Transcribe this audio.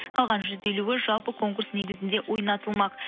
қалған жүз елуі жалпы конкурс негізінде ойнатылмақ